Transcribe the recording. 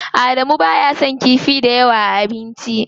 Adamu baya son kifi dayawa a abinci.